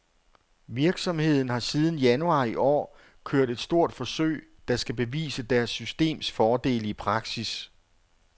Virksomheden har siden januar i år kørt et stort forsøg, der skal bevise deres systems fordele i praksis.